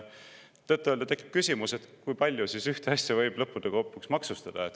Tõtt-öelda tekib küsimus, kui palju ühte asja võib lõppude lõpuks maksustada.